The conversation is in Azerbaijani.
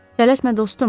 Tələsmə, dostum.